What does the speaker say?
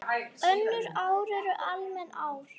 Önnur ár eru almenn ár.